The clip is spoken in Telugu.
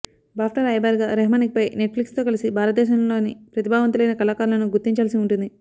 బాఫ్టా రాయబారిగా రెహమాన్ ఇకపై నెట్ఫ్లిక్స్తో కలసి భారతదేశంలోని ప్రతిభావంతులైన కళాకారులను గుర్తించాల్సి ఉంటుంది